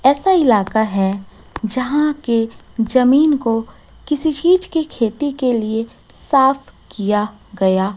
ऐसा इलाका है जहां के जमीन को किसी चीज की खेती के लिए साफ किया गया--